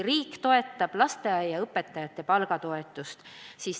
Riik toetab lasteaiaõpetajate palga toetusega.